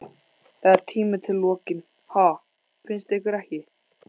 Það er tími til kominn, ha, finnst ykkur ekki?